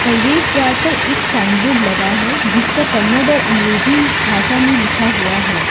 प्रवेश द्वार पर एक साइन बोर्ड लगा है जिस पर कन्नड़ और अंग्रेजी भाषा में लिखा हुआ है।